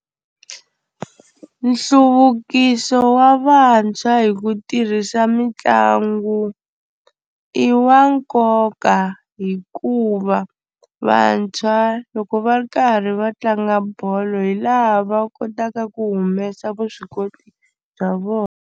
Nhluvukiso wa vantshwa hi ku tirhisa mitlangu i wa nkoka hikuva vantshwa loko va ri karhi va tlanga bolo hi laha va kotaka ku humesa vuswikoti bya vona.